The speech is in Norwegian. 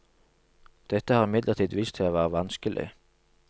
Dette har imidlertid vist seg å være vanskelig.